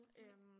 Nej